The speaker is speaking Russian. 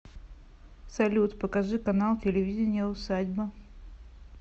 салют покажи канал телевидения усадьба